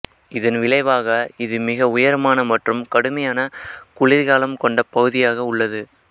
இதன் விளைவாக இது மிக உயரமான மற்றும் கடுமையான குளிர்காலம் கொண்ட பகுதியாக உள்ளது